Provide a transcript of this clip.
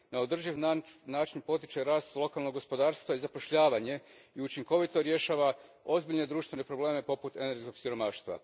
Na održiv način potiče rast lokalnog gospodarstva i zapošljavanje te učinkovito riješava ozbiljne društvene probleme poput energetskog siromaštva.